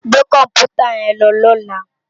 Gbé kòmpútá yèn lò lòlá